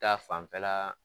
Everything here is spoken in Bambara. Ta fanfɛla